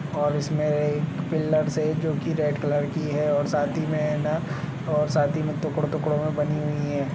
और इसमें एक पिलर से जोकि रेड कलर की है और साथी में न और साथी में टुकड -टुकडों में बनी हुई है।